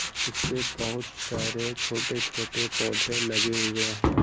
जिसपे बहोत सारे छोटे-छोटे पौधे लगे हुए हैं।